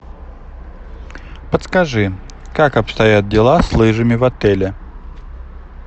подскажи как обстоят дела с лыжами в отеле